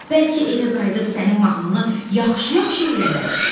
Bəlkə evə qayıdıb sənin mahnını yaxşı-yaxşı öyrənək?